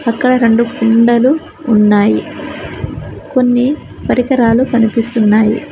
అక్కడ రెండు కుండలు ఉన్నాయి కొన్ని పరికరాలు కనిపిస్తున్నాయి.